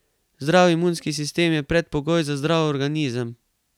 Zdrav imunski sistem je predpogoj za zdrav organizem.